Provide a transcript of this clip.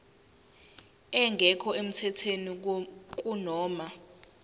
engekho emthethweni kunoma